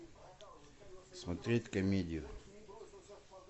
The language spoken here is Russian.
смотреть комедию